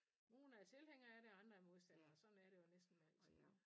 Nogen er tilhængere af det og andre er modstandere sådan er det jo næsten med alting iggå